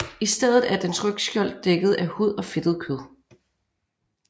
I stedet er dens rygskjold dækket af hud og fedtet kød